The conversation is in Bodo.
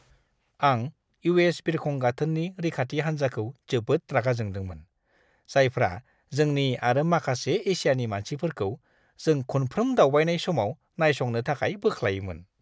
आं इउ.एस. बिरखं गाथोननि रैखाथि हान्जाखौ जोबोद रागा जोंदोंमोन, जायफ्रा जोंनि आरो माखासे एसियानि मानसिफोरखौ जों खुनफ्रोम दावबायनाय समाव नायसंनो थाखाय बोख्लायोमोन!